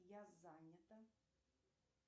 я занята